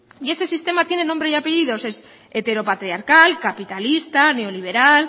y ese sistema tiene nombre y apellidos y es heteropatriarcal capitalista neoliberal